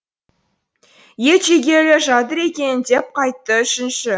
ет жегелі жатыр екен деп қайтты үшінші